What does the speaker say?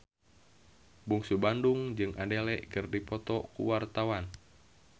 Bungsu Bandung jeung Adele keur dipoto ku wartawan